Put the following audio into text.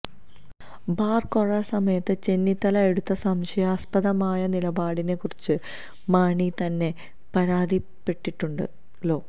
bar കോഴ സമയത്ത് ചെന്നിത്തല എടുത്ത സംശയാസ്പദമായ നിലപാടിനെ കുറിച്ച് മാണി തന്നെ പരാതിപ്പെട്ടിട്ടുണ്ടല്ലോ